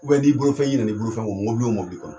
U bɛn ni bolofɛn i ɲinɛna i bolofɛn kɔ mɔbili o mɔbili kɔnɔ